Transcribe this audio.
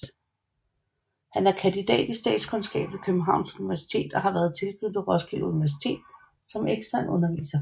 Han er kandidat i statskundskab fra Københavns Universitet og har været tilknyttet Roskilde Universitet som ekstern underviser